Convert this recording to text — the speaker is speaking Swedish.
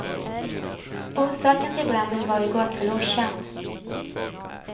Orsaken till branden var i går kväll okänd.